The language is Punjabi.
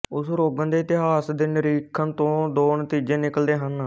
ਉਸ ਰੋਗਣ ਦੇ ਇਤਿਹਾਸ ਦੇ ਨਿਰੀਖਣ ਤੋਂ ਦੋ ਨਤੀਜੇ ਨਿਕਲਦੇ ਹਨ